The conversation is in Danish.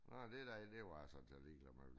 Nå det derinde det var jeg sådan set ligeglad med